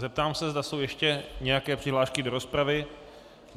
Zeptám se, zda jsou ještě nějaké přihlášky do rozpravy.